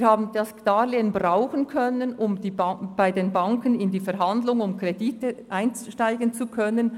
Wir konnten das Darlehen einsetzen, um bei den Banken in die Verhandlungen über Kredite einsteigen zu können.